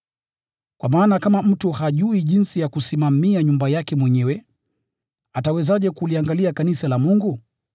(Kwa maana kama mtu hajui jinsi ya kusimamia nyumba yake mwenyewe, atawezaje kuliangalia kanisa la Mungu?)